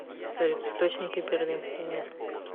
салют источники берлинский мир